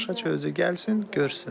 Tamaşaçı özü gəlsin, görsün.